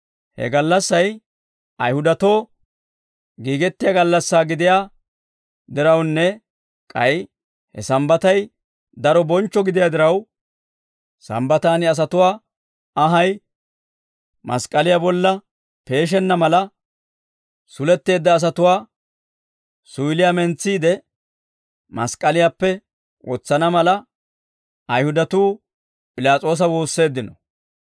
He gallassay Ayihudatoo giigettiyaa gallassaa gidiyaa dirawunne k'ay he Sambbatay daro bonchcho gidiyaa diraw, Sambbataan asatuwaa anhay mask'k'aliyaa bolla peeshenna mala, suletteedda asatuwaa suyiliyaa mentsiide, mask'k'aliyaappe wotsana mala, Ayihudatuu P'ilaas'oosa woosseeddino.